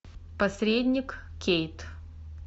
посредник кейт